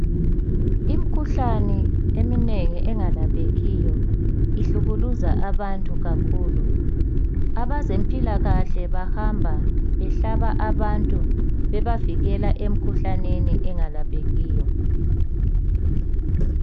Imikhuhlane eminengi engelaphekiyo ihlukuluza abantu kakhulu. Abazempilakahle bahamba behlaba abantu bebavikela emikhuhlaneni engelaphekiyo.